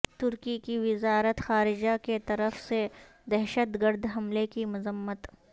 ترکی کی وزارت خارجہ کیطرف سے دہشت گرد حملے کی مذمت